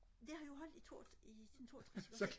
det har jo holdt i toogtres i siden toogtres